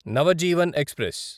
Navjivan express